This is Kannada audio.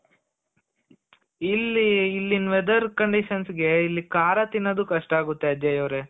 ಇಲ್ಲಿ ಇಲ್ಲಿನ್ weather conditions ಗೆ ಇಲ್ಲಿ ಖಾರ ತಿನ್ನದು ಕಷ್ಟ ಆಗುತ್ತೆ ಅಜಯ್ ಅವ್ರೆ